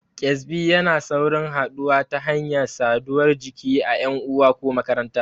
Ƙyezbi yana saurin haɗuwa ta hanyar saduwar jiki a ƴan uwa ko makaranta.